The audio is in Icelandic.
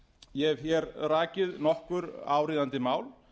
ég hef hér rakið nokkur áríðandi mál